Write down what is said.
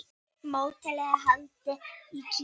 Mótið er haldið í Kína.